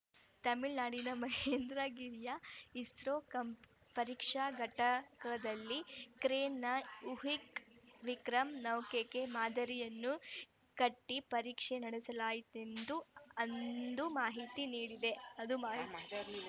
ತಮಿಳುನಾಡಿನ ಮಹೇಂದ್ರಗಿರಿಯ ಇಸ್ರೋ ಪರೀಕ್ಷಾ ಘಟಕದಲ್ಲಿ ಕ್ರೇನ್‌ನ ಹುಕ್‌ಗೆ ವಿಕ್ರಮ್‌ ನೌಕೆಯ ಮಾದರಿಯನ್ನು ಕಟ್ಟಿಪರೀಕ್ಷೆ ನಡೆಸಲಾಯಿತೆಂದು ಅಂದು ಮಾಹಿತಿ ನೀಡಿದೆ ಅದು ಮಾಹಿತಿ